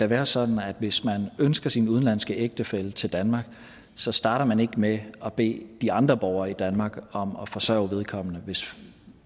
være sådan at hvis man ønsker sin udenlandske ægtefælle til danmark så starter man ikke med at bede de andre borgere i danmark om at forsørge vedkommende hvis